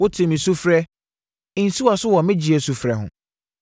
Wotee me sufrɛ: “Nsi wʼaso wɔ me gyeɛ sufrɛ ho.”